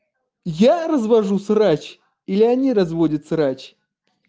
я развожу срач или они разводят срач